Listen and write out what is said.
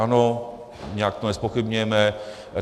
Ano, nijak to nezpochybňujeme.